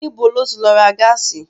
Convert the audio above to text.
Níbo ló ti lọ ra gáàsì?